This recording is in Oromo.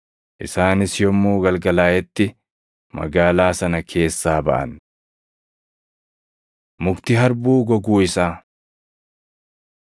Isaanis yommuu galgalaaʼetti magaalaa sana keessaa baʼan. Mukti Harbuu Goguu Isaa 11:20‑24 kwf – Mat 21:19‑22